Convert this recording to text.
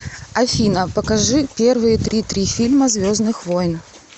афина покажи первые три три фильма звездных войн